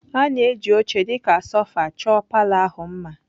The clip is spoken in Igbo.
A na-eji oche dị ka sofa chọọ palour ahụ mma.